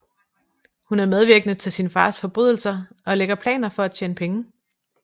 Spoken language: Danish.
Hun er medvirkende til sin fars forbrydelser og lægger planer for at tjene penge